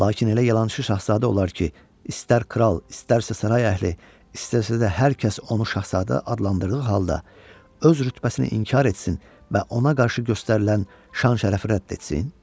Lakin elə yalançı şahzadə olar ki, istər kral, istərsə saray əhli, istərsə də hər kəs onu şahzadə adlandırdığı halda öz rütbəsini inkar etsin və ona qarşı göstərilən şan-şərəfi rədd etsin?